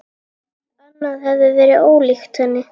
Annað hefði verið ólíkt henni.